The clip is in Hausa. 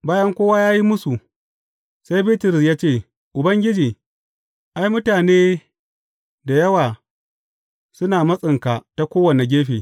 Bayan kowa ya yi musu, sai Bitrus ya ce, Ubangiji, ai, mutane da yawa suna matsinka ta kowane gefe.